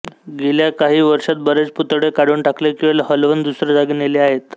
गेल्या काही वर्षांत बरेच पुतळे काढून टाकले किंवा हलवून दुसऱ्या जागी नेले आहेत